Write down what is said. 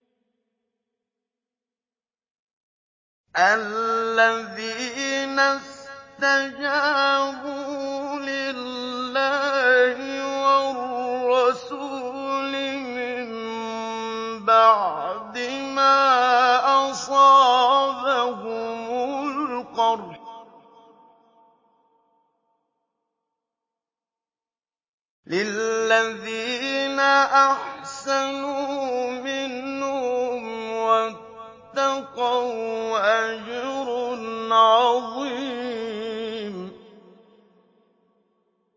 الَّذِينَ اسْتَجَابُوا لِلَّهِ وَالرَّسُولِ مِن بَعْدِ مَا أَصَابَهُمُ الْقَرْحُ ۚ لِلَّذِينَ أَحْسَنُوا مِنْهُمْ وَاتَّقَوْا أَجْرٌ عَظِيمٌ